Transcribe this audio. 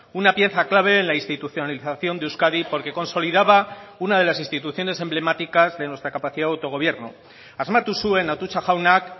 una pieza clave en la institucionalización de euskadi porque consolidaba una de las instituciones emblemáticas de nuestra capacidad de autogobierno asmatu zuen atutxa jaunak